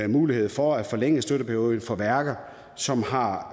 mulighed for at forlænge støtteperioden for værker som har